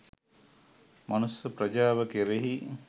මනුෂ්‍ය ප්‍රජාව කෙරෙහි